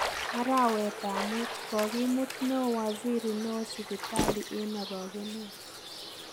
Arawetab muut: Kogimuut neo waziri neo sipitali en orogeneet.